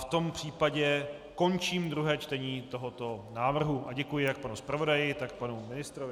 V tom případě končím druhé čtení tohoto návrhu a děkuji jak panu zpravodaji, tak panu ministrovi.